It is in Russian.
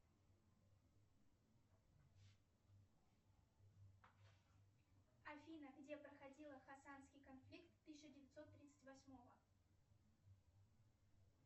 афина где проходила хасанский конфликт тысяча девятьсот тридцать восьмого